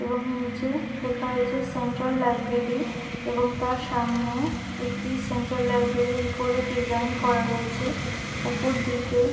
এবং নিচে লেখা রয়েছে সেন্ট্রাল লাইব্রেরি এবং তার সামনে একটি সেন্ট্রাল লাইব্রেরির করে ডিজাইন করা রয়েছে ওপর দিকে--